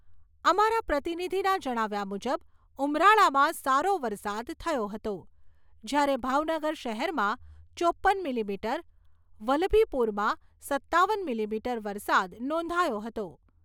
અમારા પ્રતિનિધિના જણાવ્યા મુજબ ઉમરાળામાં સારો વરસાદ થયો હતો, જ્યારે ભાવનગર શહેરમાં ચોપ્પન મિલિમીટર, વલ્લભીપુરમાં સત્તાવન મિલીમીટર વરસાદ નોંધાયો હતો.